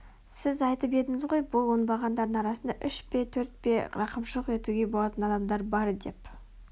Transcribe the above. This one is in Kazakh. сіз айтып едіңіз ғой бұл оңбағандардың арасында үш пе төрт пе рақымшылық етуге болатын адамдар бар деп